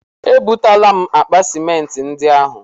E butela m akpa simenti ndị ahụ.